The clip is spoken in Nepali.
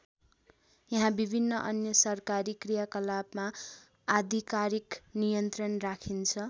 यहा विभिन्न अन्य सरकारी क्रियाकलपमा आधिकारिक नियन्त्रण राखिन्छ।